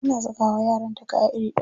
Tana saka wa yaranta kaya iri ɗaya.